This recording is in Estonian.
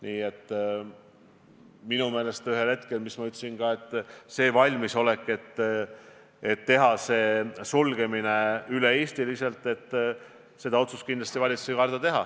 Nii et minu meelest ühel hetkel – ma ka ütlesin seda –, mis puudutab valmisolekut haridusasutused üle kogu Eesti sulgeda, siis valitsus kindlasti ei karda seda otsust teha.